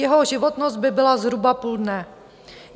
Jeho životnost by byla zhruba půl dne.